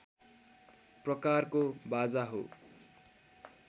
प्रकारको बाजा हो